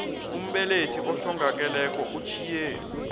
umbelethi ohlongakeleko utjhiye